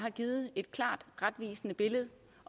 er givet et retvisende billede